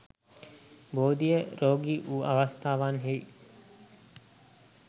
බෝධිය රෝගී වූ අවස්ථාවන්හි